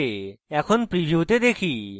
এখন প্রিভিউতে দেখি